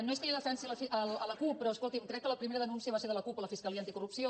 no és que jo defensi la cup però escolti’m crec que la primera denúncia va ser de la cup a la fiscalia anticorrupció